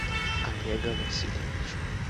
олега васильевича